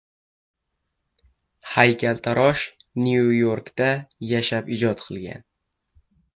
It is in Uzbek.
Haykaltarosh Nyu-Yorkda yashab ijod qilgan.